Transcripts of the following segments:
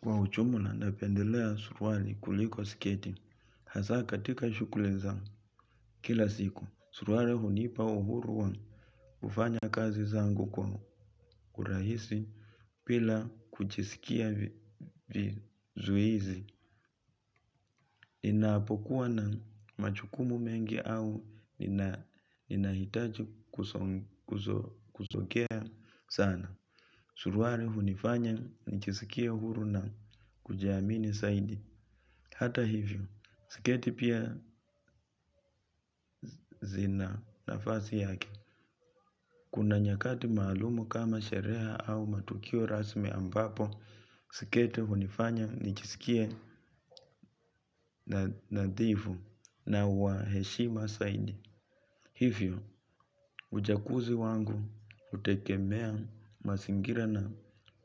Kwa ujumla napendelea suruali kuliko sketi. Hasa katika shughuli za kila siku. Suruali hunipa uhuru wa kufanya kazi zangu kwa urahisi bila kujisikia vizuhisi. Ninapokuwa na majukumu mengi au ninahitaji kuzokea sana. Surwari hunifanya nijiskie uhuru na kujiamini zaidi. Hata hivyo, sketi pia zina nafasi yake. Kuna nyakati maalum kama sherehe au matukio rasmi ambapo sketi hunifanya nijiskie nadhifu na wa heshima zaidi. Hivyo, uchaguzi wangu hutegemea mazingira na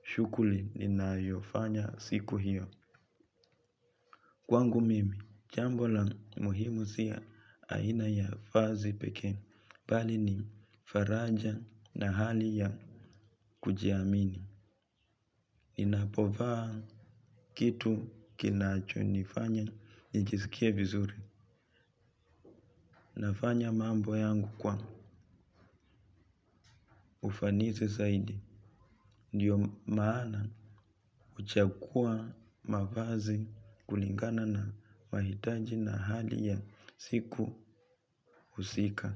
shughuli ninayofanya siku hiyo. Kwangu mimi, jambo la muhimu si aina ya vazi pekee. Bali ni faraja na hali ya kujiamini. Ninapovaa kitu kinacho nifanya nijiskie vizuri. Nafanya mambo yangu kwa ufanisi zaidi. Ndiyo maana huchagua mavazi kulingana na wahitaji na hali ya siku husika.